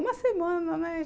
Uma semana, né?